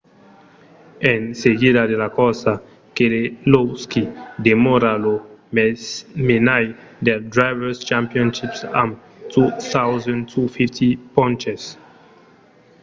en seguida de la corsa keselowski demòra lo menaire del drivers' championship amb 2 250 ponches